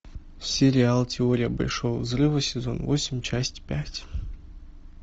сериал теория большого взрыва сезон восемь часть пять